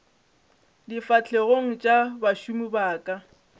difahlegong tša bašomi ba ka